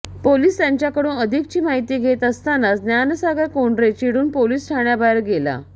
police त्याच्याकडून अधिकची माहिती घेत असतानाच ज्ञानसागर कोंडरे चिडून पोलिस ठाण्याबाहेर गेला